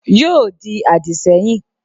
Yóò di àdìsẹ́yìn